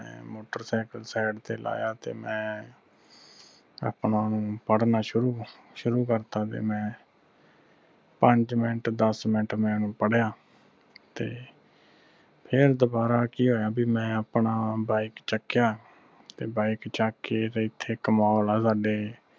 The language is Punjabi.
ਸ਼ੁਰੂ ਕਰਤਾ ਤੇ ਮੈਂ ਪੰਜ ਮਿੰਟ ਦਸ ਮਿੰਟ ਮੈਂ ਓਹਨੂੰ ਪੜਿਆ ਤੇ ਫਿਰ ਦੁਬਾਰਾ ਕਿ ਹੋਇਆ ਬਈ ਮੈਂ ਆਪਣਾ bike ਚਕਿਆ ਤੇ bike ਚੱਕ ਕੇ ਤੇ ਇੱਥੇ ਇਕ mall ਹਾਂ ਸਾਡੇ